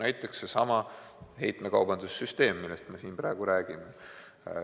Näiteks seesama heitmekaubanduse süsteem, millest me siin praegu räägime.